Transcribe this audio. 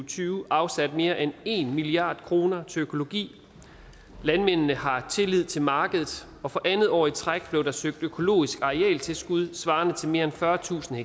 tyve afsat mere end en milliard kroner til økologi landmændene har tillid til markedet og for andet år i træk blev der søgt økologisk arealtilskud svarende til mere end fyrretusind